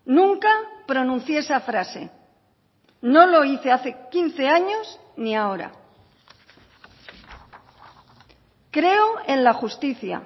nunca pronuncié esa frase no lo hice hace quince años ni ahora creo en la justicia